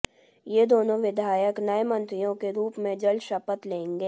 ये दोनों विधायक नए मंत्रियों के रूप में जल्द शपथ लेंगे